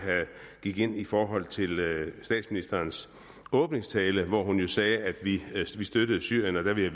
gik ind i forhold til statsministerens åbningstale hvor hun sagde at vi støttede syrien der ville